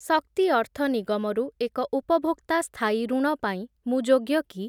ଶକ୍ତି ଅର୍ଥ ନିଗମ ରୁ ଏକ ଉପଭୋକ୍ତା ସ୍ଥାୟୀ ଋଣ ପାଇଁ ମୁଁ ଯୋଗ୍ୟ କି?